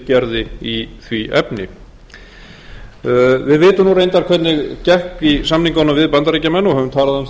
gerði í því efni við vitum nú reyndar hvernig gekk í samningunum við bandaríkjamenn og höfum talað um það hér